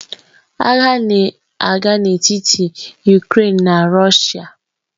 Agha na-aga n'etiti Ukrèịnian na Rọshia.